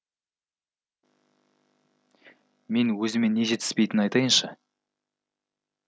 мен өзіме не жетіспейтінін айтайыншы